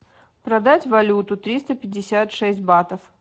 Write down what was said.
продать валюту триста пятьдесят шесть батов